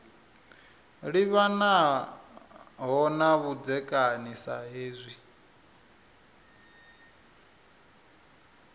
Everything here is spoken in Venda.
livhanaho na vhudzekani sa hezwi